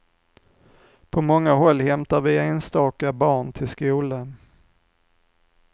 På många håll hämtar vi enstaka barn till skolan.